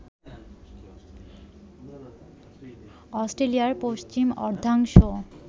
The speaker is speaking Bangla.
অস্ট্রেলিয়ার পশ্চিম অর্ধাংশ